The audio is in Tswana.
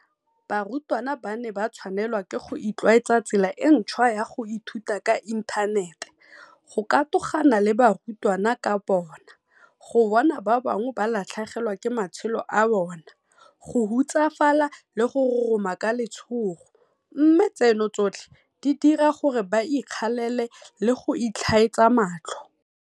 Barutwana ba ne ba tshwanelwa ke go itlwaetsa tsela e ntšhwa ya go ithuta ka inthanete, go katogana le barutwana ka bona, go bona ba bangwe ba latlhegelwa ke matshelo a bona, go hutsafala le go roroma ka letshogo, mme tseno tsotlhe di dira gore ba ikgalale le go itlhaetsa matlho.